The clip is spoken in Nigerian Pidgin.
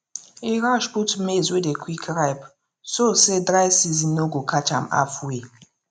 e rush put maize wey dey quick ripe so say dry season no go catch am halfway